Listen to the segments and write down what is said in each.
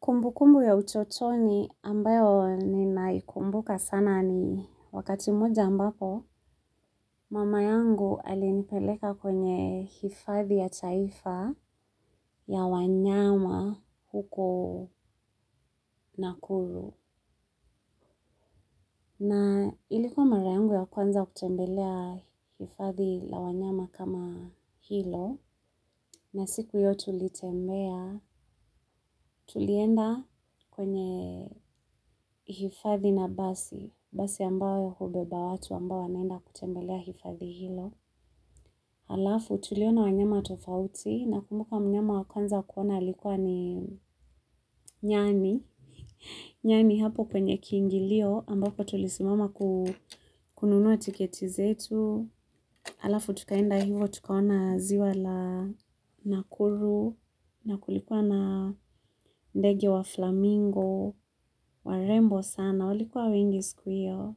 Kumbu kumbu ya utotoni ambayo ni naikumbuka sana ni wakati moja ambapo mama yangu alinipeleka kwenye hifadhi ya chaifa ya wanyama huko nakuru. Na ilikuwa marayangu ya kwanza kutembelea hifathi la wanyama kama hilo, na siku hiyo tulitembea tulienda kwenye hifathi na basi, basi ambayo hubeba watu ambao wanaenda kutembelea hifathi hilo. Alafu tuliona wanyama tofauti na kumbuka mnyama wakwanza kuona likuwa ni nyani nyani hapo penye kiingilio ambapo tulisimama kununuwa tiketizetu alafu tukaenda hivo tukaona ziwa la nakuru na kulikuwa na ndege wa flamingo warembo sana waliikuwa wengi siku hio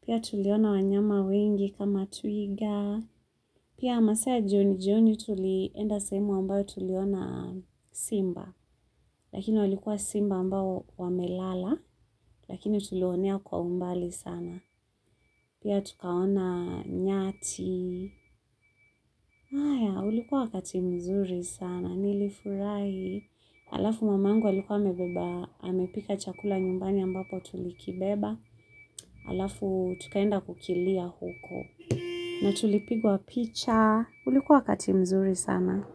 pia tuliona wanyama wengi kama twiga. Pia masaa ya jioni jioni tulienda sehemu ambayo tuliona simba. Lakini walikuwa simba ambao wamelala. Lakini tuliwaonea kwa umbali sana. Pia tukaona nyati. Haya, ulikuwa wakatimzuri sana. Nilifurai. Alafu mamangu alikuwa amebeba amepika chakula nyumbani ambapo tulikibeba. Alafu tukaenda kukilia huko. Na tulipigwa picha. Ulikuwa wakatimzuri sana.